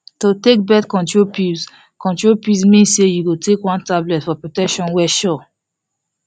to take birth control pills control pills mean say you go take one tablet for protection wey sure